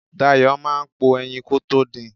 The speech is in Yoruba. Dayo máa po ẹyin kótó din.